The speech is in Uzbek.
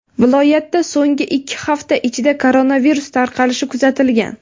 viloyatda so‘nggi ikki hafta ichida koronavirus tarqalishi kuzatilgan.